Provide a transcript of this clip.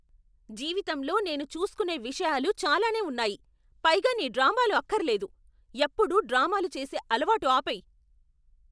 జీవితంలో నేను చూస్కోనే విషయాలు చాలానే ఉన్నాయి, పైగా నీ డ్రామాలు అక్కర్లేదు. ఎప్పుడూ డ్రామాలు చేసే అలవాటు ఆపేయ్.